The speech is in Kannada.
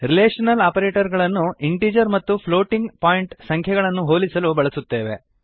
ರಿಲೇಶನಲ್ ಆಪರೇಟರ್ ಗಳನ್ನು ಇಂಟಿಜರ್ ಮತ್ತು ಫ್ಲೋಟಿಂಗ್ ಪಾಯಿಂಟ್ ಸಂಖ್ಯೆಗಳನ್ನು ಹೋಲಿಸಲು ಬಳಸುತ್ತೇವೆ